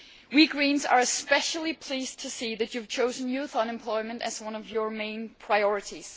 We Greens are especially pleased to see that you have chosen youth unemployment as one of your main priorities.